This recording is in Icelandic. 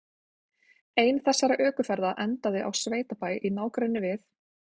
Ein þessara ökuferða endaði á sveitabæ í nágrenni við